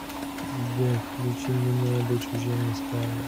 сбер включи линэди чужими стали